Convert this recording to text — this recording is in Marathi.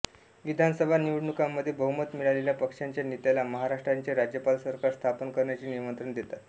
विधानसभा निवडणुकांमध्ये बहुमत मिळालेल्या पक्षाच्या नेत्याला महाराष्ट्राचे राज्यपाल सरकार स्थापन करण्याचे निमंत्रण देतात